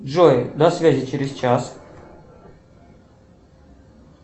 джой до связи через час